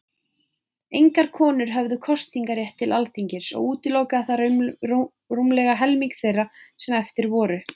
Engar konur höfðu kosningarétt til Alþingis, og útilokaði það rúmlega helming þeirra sem eftir voru.